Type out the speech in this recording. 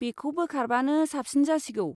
बेखौ बोखारबानो साबसिन जासिगौ।